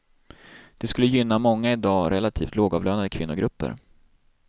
Det skulle gynna många i dag relativt lågavlönade kvinnogrupper.